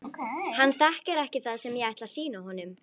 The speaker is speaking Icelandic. Hann þekkir ekki það sem ég ætla að sýna honum.